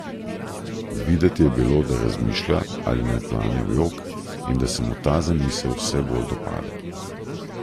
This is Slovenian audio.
Videti je bilo, da razmišlja, ali naj plane v jok, in da se mu ta zamisel vse bolj dopade.